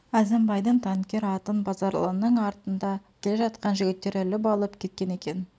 әзімбайдың танкер атын базаралының артында келе жатқан жігіттер іліп алып кеткен екен